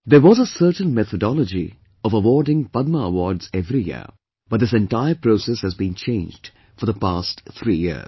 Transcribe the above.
There was a certain methodology of awarding Padma Awards every year, but this entire process has been changed for the past three years